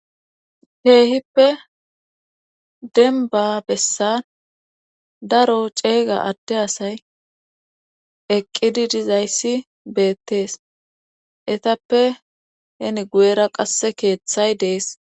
Heehippe denba bessan daro ceega adde asay eqqidi dizayssi beettees etappe heni guyera qasse keeththay dees.